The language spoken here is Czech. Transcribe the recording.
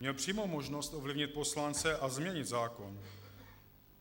Měl přímo možnost ovlivnit poslance a změnit zákon.